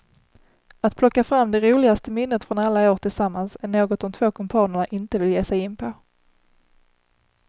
Att plocka fram det roligaste minnet från alla år tillsammans är något de två kumpanerna inte vill ge sig in på.